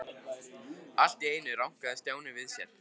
Allt í einu rankaði Stjáni við sér.